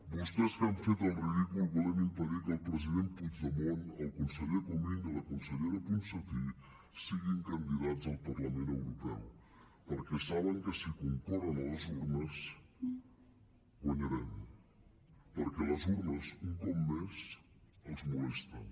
vostès que han fet el ridícul volent impedir que el president puigdemont el conseller comín i la consellera ponsatí siguin candidats al parlament europeu perquè saben que si concorren a les urnes guanyarem perquè les urnes un cop més els molesten